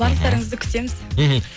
барлықтарыңызды күтеміз мхм